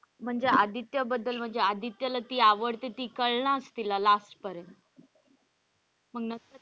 म्हणजे आदित्य बद्दल म्हणजे आदित्य ला ती आवडते ती कलनाचं तिला last पर्यंत मग,